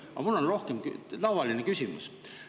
Aga mul on tavaline küsimus.